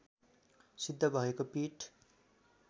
सिद्ध भएको पीठ